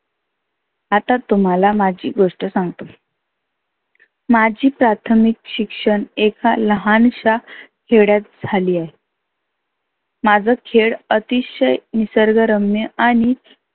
आता तुम्हाला माझी गोष्ट सांगतो. माझी प्राथमीक शिक्षण एक फार लहानष्या खेड्यात झाली आहे. माझं खेड आतिशय निसर्ग रम्य आणि